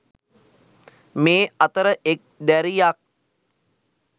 මේ අතර එක් දැරියක්